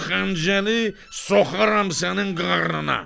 Bu xəncəli soxaram sənin qarnına!